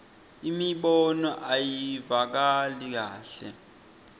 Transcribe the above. imibono ayivakali kahle